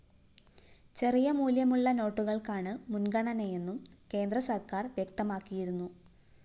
ചെറിയ മൂല്യമുള്ള നോട്ടുകള്‍ക്കാണ് മുന്‍ഗണനയെന്നും കേന്ദ്ര സര്‍ക്കാര്‍ വ്യക്തമാക്കിയിരുന്നു